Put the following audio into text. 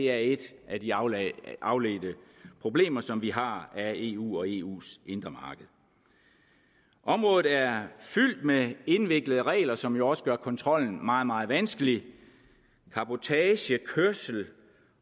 er et af de afledte afledte problemer som vi har af eu og eus indre marked området er fyldt med indviklede regler som jo også gør kontrollen meget meget vanskelig cabotagekørsel